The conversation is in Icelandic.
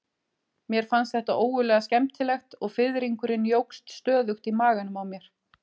Mér fannst þetta ógurlega skemmtilegt og fiðringurinn jókst stöðugt í maganum á mér.